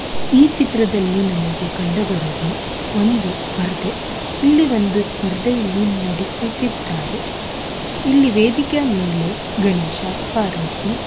ಈ ಚಿತ್ರದಲ್ಲಿ ನಮಗೆ ಕಂಡು ಬರುವುದು ಒಂದು ಸ್ಪರ್ಧೆ ಇಲ್ಲಿ ಒಂದು ಸ್ಪರ್ಧೆಯನ್ನು ನಡೆಸುತ್ತಿದ್ದಾರೆ ಇಲ್ಲಿ ವೇದಿಕೆ ಮೇಲೆ ಗಣೇಶ ಪಾರ್ವತಿ --